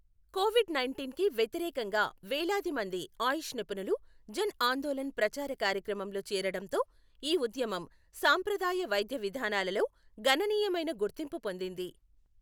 Covid nineteen కి వ్యతిరేకంగా వేలాది మంది ఆయుష్ నిపుణులు జన్ ఆందోలణ్ ప్రచార కార్యక్రమంలో చేరడంతో, ఈ ఉద్యమం సాంప్రదాయ వైద్య విధానాలలో గణనీయమైన గుర్తింపు పొందింది.